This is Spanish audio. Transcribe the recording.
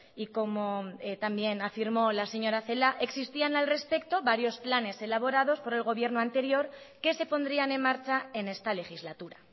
y como también afirmó la señora celaá existían al respecto varios planes elaborados por el gobierno anterior que se pondrían en marcha en esta legislatura